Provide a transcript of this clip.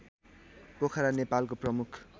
पोखरा नेपालको प्रमुख